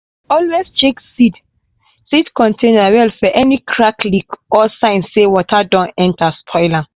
always check seed seed container well for any crack leak or sign say water don enter spoil am.